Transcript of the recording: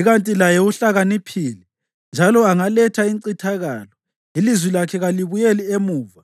Ikanti laye uhlakaniphile njalo angaletha incithakalo; ilizwi lakhe kalibuyeli emuva.